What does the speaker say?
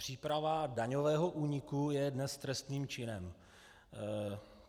Příprava daňového úniku je dnes trestným činem.